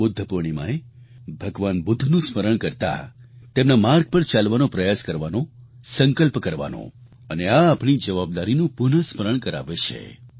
આ બુદ્ધ પૂર્ણિમાએ ભગવાન બુદ્ધનું સ્મરણ કરતા તેમના માર્ગ પર ચાલવાનો પ્રયાસ કરવાનો સંકલ્પ કરવાનો અને આ આપણી સૌની જવાબદારીનું પુનઃસ્મરણ કરાવે છે